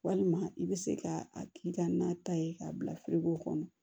Walima i bɛ se ka a k'i ka na ta ye k'a bila firigo kɔnɔ